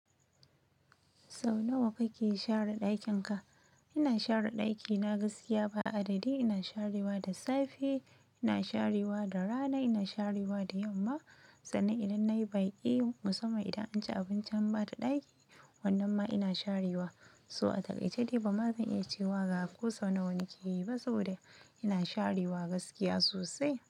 Sau nawa kake share ɗakin ka? Ina share ɗaki na gaskiya ba adadi. Ina sharewa da safe, ina sharewa da rana, ina sharewa da yamma. Sannan idan nayi baki musamman idan an ci abinci an bada ɗaki wannan ma ina sharewa. So a takaitace dai ba ma zan iya cewa ga ko sau nawa nakeyi ba saboda ina sharewa gaskiya sosai.